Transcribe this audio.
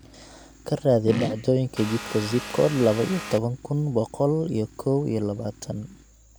ka raadi dhacdooyinka jidka zip code laba iyo toban kun boqol iyo kow iyo labaatan